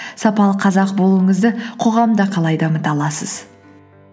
сапалы қазақ болуыңызды қоғамда қалай дамыта аласыз